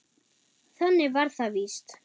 Þannig var það víst.